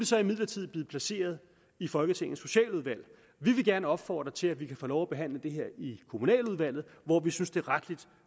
så imidlertid blevet placeret i folketingets socialudvalg vi vil gerne opfordre til at vi kan få lov at behandle det her i kommunaludvalget hvor vi synes det rettelig